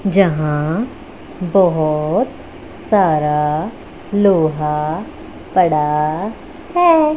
जहां बहोत सारा लोहा पड़ा है।